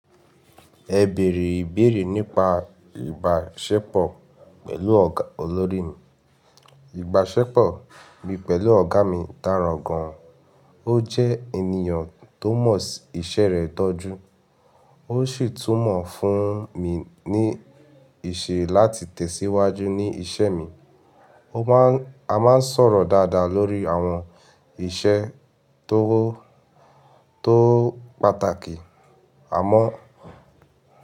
Ẹ beere ìbéèrè nípa ìbáṣepọ̀ pẹ̀lú ọ̀gá olórí mi. Ìbáṣepọ̀ mi pẹ̀lú ọ̀gá mi dára gan-an. Ó jẹ́ ènìyàn tó mọ̀ sí iṣẹ́ rẹ̀ tọ́jú, ó sì tún mọ̀ fún mi ní ìṣe láti tẹ̀síwájú ní iṣẹ́ mi. A máa ń sọ̀rọ̀ dáadáa lórí àwọn iṣẹ́ tó pátàkì. Àmọ́